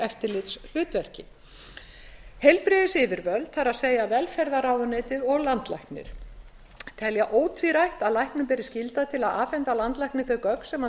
eftirlitshlutverki heilbrigðisyfirvöld það er velferðarráðuneytið og landlæknir telja ótvírætt að læknum beri skylda til að afhenda landlækni þau gögn sem hann